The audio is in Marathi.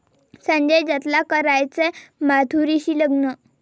संजय दत्तला करायचंय माधुरीशी लग्न!